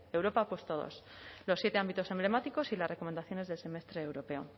europa ha puesto dos los siete ámbitos emblemáticos y las recomendaciones del semestre europeo